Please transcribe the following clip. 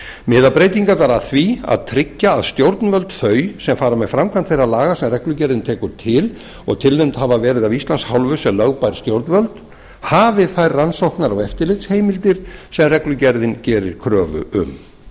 miða breytingarnar að því að tryggja að stjórnvöld þau sem fara með framkvæmd þeirra laga sem reglugerðin tekur til og tilnefnd hafa verið af íslands hálfu sem lögbær stjórnvöld hafi þær heimildir sem reglugerðin gerir kröfu um